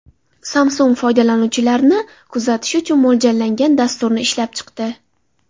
Samsung foydalanuvchilarni kuzatish uchun mo‘ljallangan dasturni ishlab chiqdi.